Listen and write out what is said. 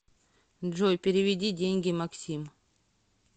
джой переведи деньги максим